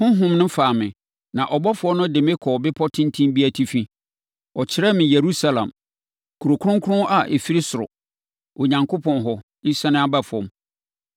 Honhom no faa me, na ɔbɔfoɔ no de me kɔɔ bepɔ tenten bi atifi. Ɔkyerɛɛ me Yerusalem, Kuro Kronkron a ɛfiri ɔsoro, Onyankopɔn hɔ, resiane aba fam.